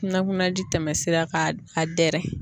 Kunna kuna ji tɛmɛ sira k'a dɛrɛ.